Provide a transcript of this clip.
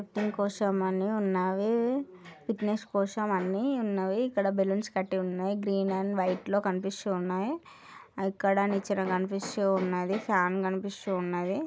అన్ని ఉన్నాయి fitness కోసం అన్ని ఉన్నాయి ఇక్కడ బెలూన్స్ కట్టి ఉన్నాయి గ్రీన్ అండ్ వైట్ లో కనిపిస్తూ ఉన్నాయి ఇక్కడ నిచ్చెన కనిపిస్తూ ఉన్నది ఫ్యాన్ కనిపిస్తూ ఉన్నది.